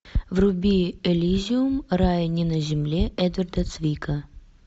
вруби элизиум рай не на земле эдварда твика